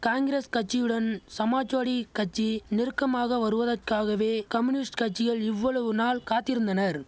காங்கிரஸ் கட்சியுடன் சமாஜ்வாடி கட்சி நெருக்கமாக வருவதக்காகவே கம்யூனிஸ்ட் கட்சிகள் இவ்வளவு நாள் காத்திருந்தனர்